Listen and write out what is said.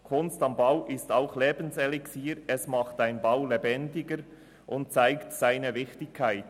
«Kunst am Bau» ist auch Lebenselixier, macht einen Bau lebendiger und zeigt seine Wichtigkeit.